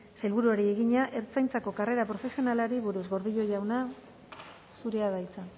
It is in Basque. sailburuari egina ertzaintzako karrera profesionalari buruz gordillo jauna zurea da hitza